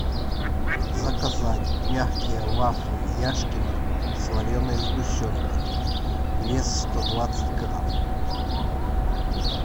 заказать мягкие вафли яшкино с вареной сгущенкой вес сто двадцать грамм